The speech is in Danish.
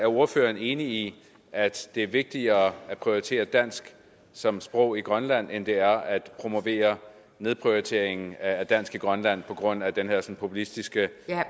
ordføreren enig i at det er vigtigere at prioritere dansk som sprog i grønland end det er at promovere nedprioriteringen af dansk i grønland på grund af den her populistiske